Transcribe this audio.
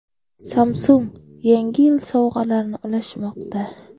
Samsung Yangi yil sovg‘alarini ulashmoqda!.